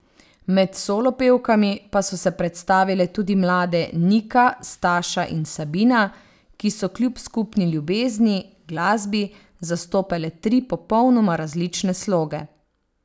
Med solo pevkami pa so se predstavile tudi mlade Nika, Staša in Sabina, ki so kljub skupni ljubezni, glasbi, zastopale tri popolnoma različne sloge.